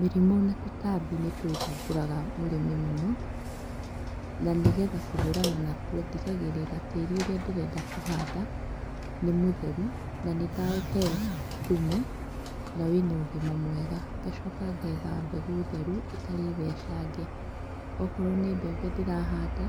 Mĩrimũ na tũtambi nĩtũthumbũraga mũrĩmi mũno. Nanĩgetha kũhũrana natuo, ndigagĩrĩra atĩ tĩĩri ũrĩa ndĩrenda kũhanda nĩ mũtheru na nĩdaũhe thumu na wĩna ũgima mwega. Ngacoka ngetha mbegũ theru ĩtarĩ thecange. Okorwo nĩ mbembe ndĩrahanda